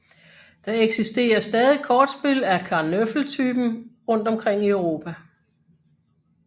Der eksisterer stadig kortspil af karnöffel typen rundt om i Europa